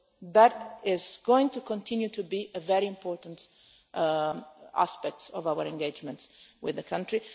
we do. That is going to continue to be a very important aspect of our engagement with the